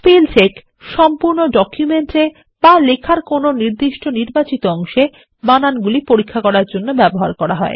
spell check সম্পূর্ণ document এবা লেখার কোনোনির্বাচিত অংশেবানানগুলি পরীক্ষার জন্য ব্যবহার করা হয়